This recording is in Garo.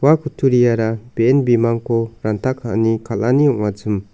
ua kutturiara be·en bimangko ranta ka·ani kal·ani ong·achim.